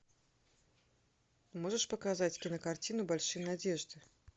можешь показать кинокартину большие надежды